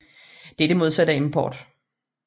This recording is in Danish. Det er det modsatte af import